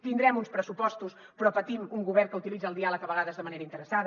tindrem uns pressupostos però patim un govern que utilitza el diàleg a vegades de manera interessada